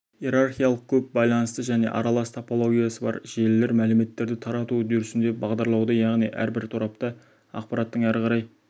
иерархиялық көп байланысты және аралас топологиясы бар желілер мәліметтерді тарату үдерісінде бағдарлауды яғни әрбір торапта ақпараттың әрі қарай